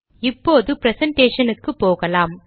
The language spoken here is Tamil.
இப்போது ப்ரெசன்டேஷனுக்கு போகலாம்